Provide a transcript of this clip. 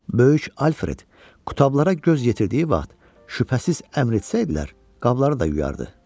Böyük Alfred qutablara göz yetirdiyi vaxt, şübhəsiz əmr etsəydilər, qabları da yuyardı.